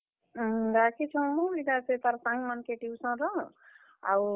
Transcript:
ଅଁ, ଡାକିଛୁଁ ହୋ ଇଟା ସେ ତାର୍ ସାଙ୍ଗ ମାନକେ tuition ର ।